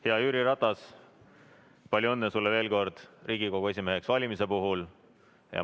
Hea Jüri Ratas, palju õnne sulle Riigikogu esimeheks valimise puhul!